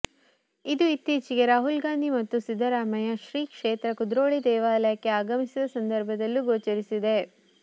ಇದು ಇತ್ತೀಚೆಗೆ ರಾಹುಲ್ ಗಾಂಧಿ ಮತ್ತು ಸಿದ್ದರಾಮಯ್ಯ ಶ್ರೀಕ್ಷೇತ್ರ ಕುದ್ರೋಳಿ ದೇವಾಲಯಕ್ಕೆ ಆಗಮಿಸಿದ ಸಂದರ್ಭದಲ್ಲೂ ಗೋಚರಿಸಿದೆ